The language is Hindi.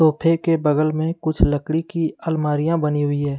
के बगल में कुछ लकड़ी की अलमारियां बनी हुई है।